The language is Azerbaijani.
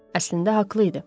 Əslində haqlı idi.